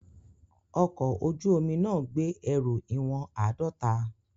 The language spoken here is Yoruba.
Ọkọ̀ ojú omi náà gbé ẹrù ìwọ̀n àádọ́ta.